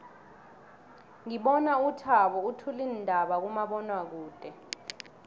ngibona uthabo uthula iindaba kumabonwakude